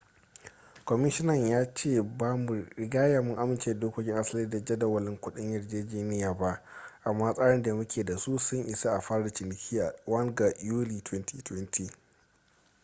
kwamishina ya ce ba mu rigya mun amince da dokokin asali da jadawalin kudin yarjejeniya ba amma tsarin da muke da su sun isa a fara ciniki a 1 ga yuli 2020